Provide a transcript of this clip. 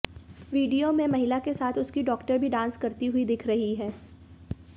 video में महिला के साथ उसकी डॉक्टर भी डांस करती हुई दिख रही हैं